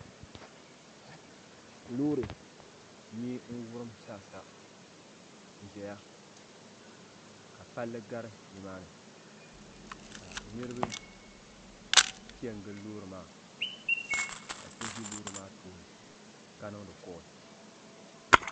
Loori nyee n wurim zaasa n ʒɛya ka palli gari nimani ka niriba piɛngili loori maa ka so ʒi loori maa tooni ka niŋdi kolli.